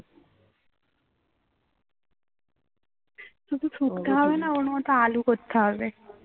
না না ওর মত আলু করতে হবে